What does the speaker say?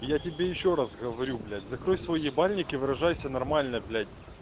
я тебе ещё раз говорю блять закрой свой ебальник выражайся нормально блять